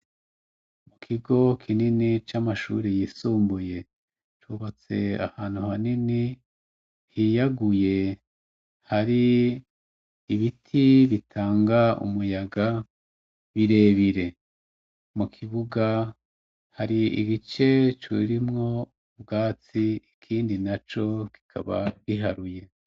Ikigo kinini camashure yisumbuye cubatse ahantu hanini hiyaguye hari ibiti bitanga umuyaga birebire mu kibuga hari ibice birimwo ubwatsi ikindi naco kikaba giharuye